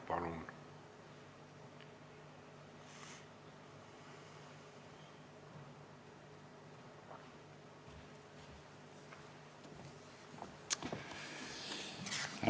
Palun!